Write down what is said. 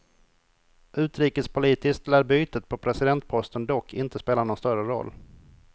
Utrikespolitiskt lär bytet på presidentposten dock inte spela någon större roll.